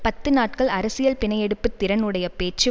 பத்து நாட்கள் அரசியல் பிணை எடுப்பு திறன் உடைய பேச்சு